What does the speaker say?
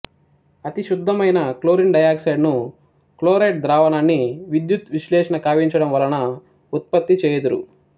అతి శుద్ధమైన chlorine dioxide ను క్లోరైట్ ద్రావణాన్ని విద్యుద్విశ్లేషణ కావించడం వలన ఉత్పత్తి చేయుదురు